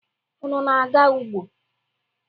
Unu na-aga ugbo?